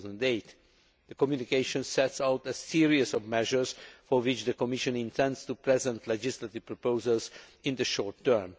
2008. The communication sets out a series of measures for which the Commission intends to present legislative proposals in the short term.